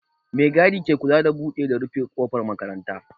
Mai gadi ke kula da buɗe da rufe ƙofar makaranta